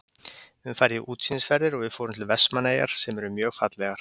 Við höfum farið í útsýnisferðir og við fórum til Vestmannaeyjar sem eru mjög fallegar.